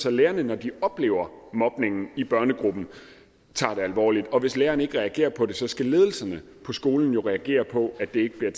at lærerne når de oplever mobningen i børnegruppen tager det alvorligt og hvis læreren ikke reagerer på det skal ledelsen på skolen reagere på at det ikke bliver